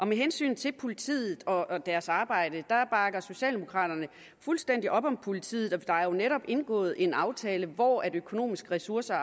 med hensyn til politiet og deres arbejde bakker socialdemokraterne fuldstændig op om politiet der er jo netop indgået en aftale hvor økonomiske ressourcer